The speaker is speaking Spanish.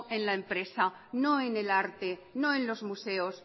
en la empresa no en el arte no en los museos